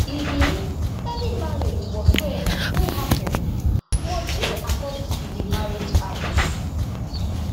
e mean any marriage whatsoeva wey happun must dey according to di marriage act